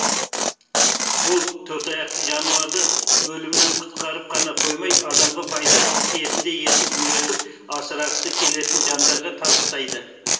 ол төртаяқты жануарды өлімнен құтқарып қана қоймай адамға пайдасы тиетіндей етіп үйретіп асырағысы келетін жандарға табыстайды